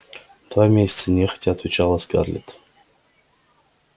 два месяца нехотя отвечала скарлетт